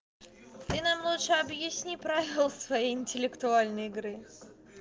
ты нам лучше объясни правила своей интеллектуальной игры